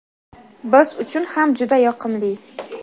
biz uchun ham juda yoqimli.